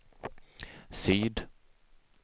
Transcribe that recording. syd